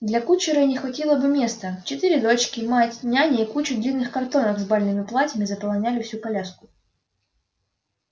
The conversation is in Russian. да для кучера и не хватило бы места четыре дочки мать няня и куча длинных картонок с бальными платьями заполняли всю коляску